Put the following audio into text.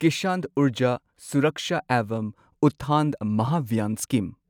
Kisan Urja Suraksha evam Utthan Mahabhiyan scheme